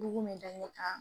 Bugun bɛ da ɲɛ kan.